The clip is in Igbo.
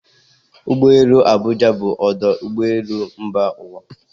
Ụgbọ elu Abụja bụ ọdụ ụgbọ elu mba ụwa